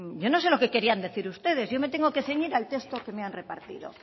yo no sé lo que quieran decir ustedes yo me tengo que ceñir al texto que me han repartido